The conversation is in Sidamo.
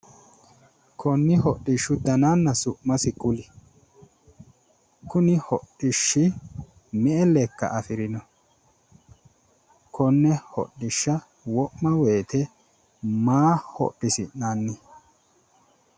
konni hodhishshu dananna su'masi kuli kuni hodhishshi me'e lekka afirino? konne hodhishsha wo'ma woyiite maa hodhisi'nanni?